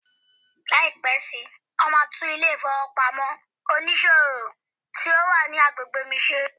Lai pẹ si, won ma tun ile ifowopamọ onísòwò ti o wa ni agbegbe mi ṣe